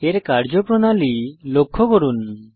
এর কার্যপ্রণালী লক্ষ্য করুন